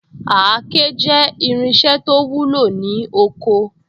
Àáké jẹ́ irinṣẹ́ to wúlò ní oko